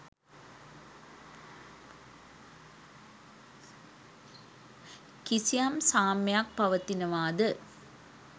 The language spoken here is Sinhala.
කිසියම් සාම්‍යයක් පවතිනවාද?